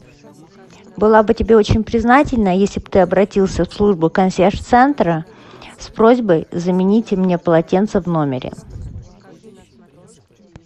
была бы тебе очень признательна если бы ты обратился в службу консьерж центра с просьбой заменить мне полотенца в номере